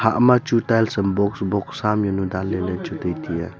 ama chu tiles am box box sam jaonu danle ley chu tai tiya.